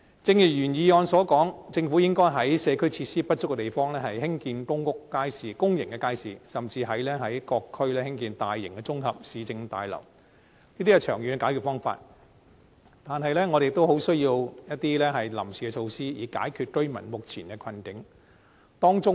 正如原議案所說，政府應該在社區設施不足的地方，興建公眾街市，甚至在各區興建大型綜合市政大樓，這些是長遠的解決方法，但我們亦需要一些臨時措施以解決居民目前的困境。